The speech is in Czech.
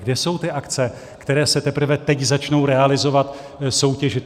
Kde jsou ty akce, které se teprve teď začnou realizovat, soutěžit?